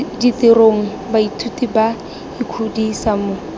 ditirong baithuti ba ikgodisa mo